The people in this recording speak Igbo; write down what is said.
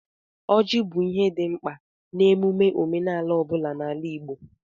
Ọjị bụ ihe dị mkpa n'emume omenala ọ bụla n'ala Igbo.